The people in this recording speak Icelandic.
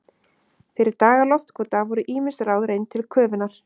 Fyrir daga loftkúta voru ýmis ráð reynd til köfunar.